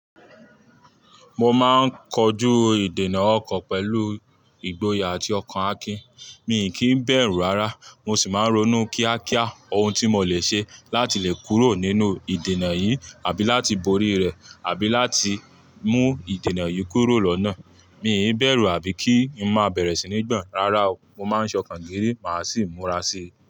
Mo máa ń kojú ìdènà ọkọ̀ pẹ̀lú ìgboyà àti ọkàn Akin. Mi kì í bẹ̀rù rárá, mo sì máa ń ronú kíákíá ohun tí mo lè ṣe láti lè kúrò nínú ìdènà yìí àbí láti borí rẹ̀ àbí láti mú ìdènà yìí kúrò lọ́nà. Mi ò bẹ̀rù àbí kí ń má bẹ̀rẹ̀ sí ní gbọ́n. Rárá o, mo máa ń ṣọkàn géré, màá sì múra sí i.